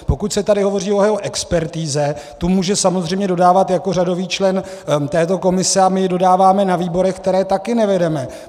Pokud se tady hovoří o jeho expertize, tu může samozřejmě dodávat jako řadový člen této komise, a my je dodáváme na výbory, které taky nevedeme.